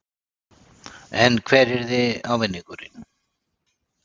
En hver yrði ávinningurinn?